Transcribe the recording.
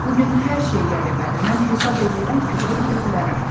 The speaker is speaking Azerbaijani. Bu gün hər şey qəribədir, mən hesab eləyirəm ki, ora girə bilərəm.